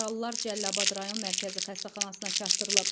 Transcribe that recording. Yaralılar Cəlilabad rayon Mərkəzi xəstəxanasına çatdırılıb.